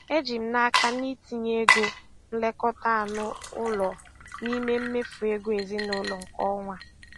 Eji m n'aka na itinye ego nlekọta anụ ụlọ n'ime mmefu ego ezinụlọ nke ọnwa a.